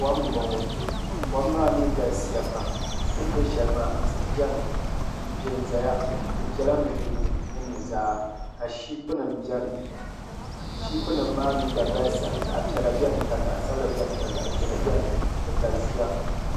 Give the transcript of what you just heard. Kom n boŋo kom maa mii galisiya pam din bɛ shɛli maa tihi biɛni n piɛ ʒɛya di piɛla nudirigu ni nuzaa ka shiipi nim biɛni shiipi nim maa mii gba galisiya zaɣ piɛla biɛni ka zaɣ sabila biɛni ka zaɣ ʒiɛhi biɛni di galisiya